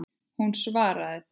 Hún svaraði því.